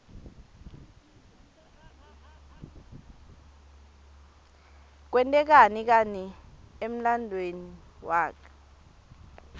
kwente kani emlanduuemi waklte